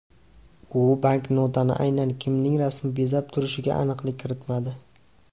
U banknotani aynan kimning rasmi bezab turishiga aniqlik kiritmadi.